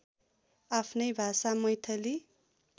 आफ्नै भाषा मैथिली